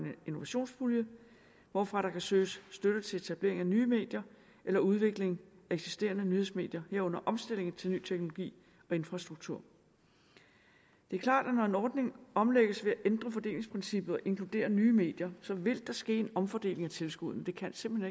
innovationspulje hvorfra der kan søges støtte til etablering af nye medier eller udvikling af eksisterende nyhedsmedier herunder omstilling til ny teknologi og infrastruktur det er klart at når en ordning omlægges ved at ændre fordelingsprincippet og inkludere nye medier vil der ske en omfordeling af tilskuddene det kan simpelt